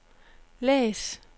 læs